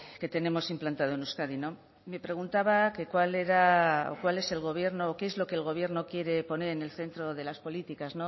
que tenemos implantado en euskadi no me preguntaba que cuál era o cuál es el gobierno qué es lo que el gobierno quiere poner en el centro de las políticas